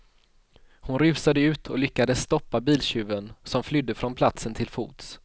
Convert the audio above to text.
Hon rusade ut och lyckades stoppa biltjuven, som flydde från platsen till fots.